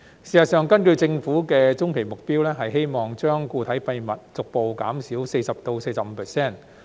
事實上，根據政府的中期目標，希望將固體廢物逐步減少 40% 至 45%。